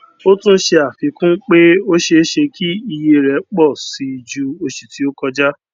o tún ṣe afikun pé o ṣe ṣe kí ìyè rẹ pọ sí jù oṣù ti o koja